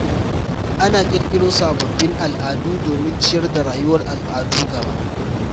Ana ƙirƙiro sababbin al’adu domin ciyar da rayuwar al'adu gaba.